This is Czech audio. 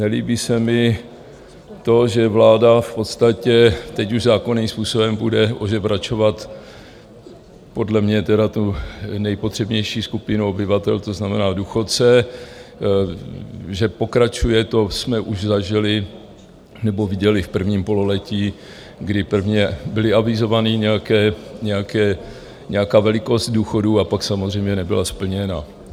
Nelíbí se mi to, že vláda v podstatě teď už zákonným způsobem bude ožebračovat podle mě tedy tu nejpotřebnější skupinu obyvatel, to znamená důchodce, že pokračuje, to jsme už zažili nebo viděli v prvním pololetí, kdy prvně byla avizovaná nějaká velikost důchodů a pak samozřejmě nebyla splněna.